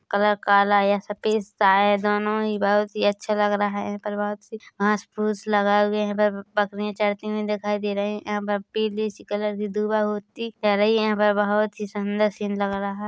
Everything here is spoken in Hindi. कलर काला या सफेद साया दोनों ही बहुत ही अच्छा लग रहा है प्रभात से घांस फूस लगाए हुए हैइधर यहाँ पर बकरी चरती हुई दिखाई दे रही है यहाँ पर पीली सी कलर की दुर्वा होती पहले ही बहुत सुन्दर सीन लग रहा है।